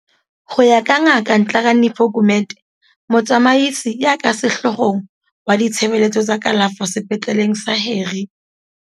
Ho ya ka Ngaka Nhlakanipho Gumede, Motsamaisi ya ka Sehloohong wa Ditshebeletso tsa Kalafo Sepetleleng sa Harry